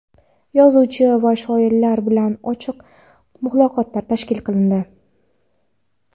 yozuvchi va shoirlar bilan ochiq muloqotlar tashkil qilindi.